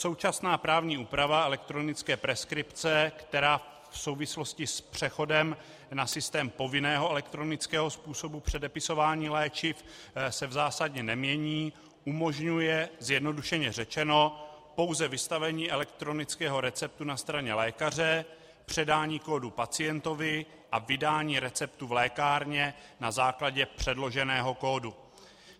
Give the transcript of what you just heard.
Současná právní úprava elektronické preskripce, která v souvislosti s přechodem na systém povinného elektronického způsobu předepisování léčiv se v zásadě nemění, umožňuje, zjednodušeně řečeno, pouze vystavení elektronického receptu na straně lékaře, předání kódu pacientovi, a vydání receptu v lékárně na základě předloženého kódu.